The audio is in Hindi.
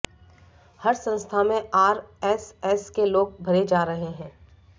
हर संस्था में आरएसएस के लोग भरे जा रहे हैं